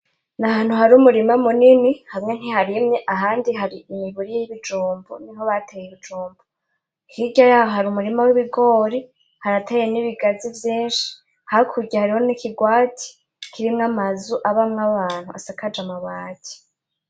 Ni ahantu hari umurima munini hamwe ntiharimye ahandi hari imiburi y’ibijumbu, hirya yaho hari umurima w’ibigori harateye n’ibigazi vyinshi hakurya hariho n’ikigwati kirimwo amazu abamwo abantu asakaje amabati.